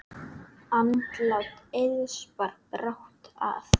Andlát Eiðs bar brátt að.